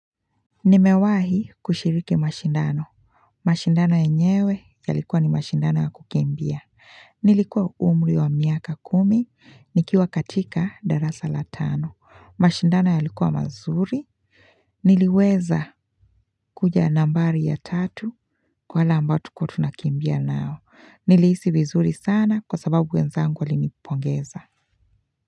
Nimewahi kushiriki mashindano. Mashindano yenyewe yalikuwa ni mashindano ya kukimbia. Nilikuwa umri wa miaka kumi. Nikiwa katika darasa la tano. Mashindano ya likuwa mazuri. Niliweza kuja nambari ya tatu kwa wale ambao tulikuwa tunakimbia nao. Nilihisi vizuri sana kwa sababu wenzangu walinipongeza.